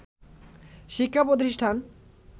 শিক্ষা প্রতিষ্ঠান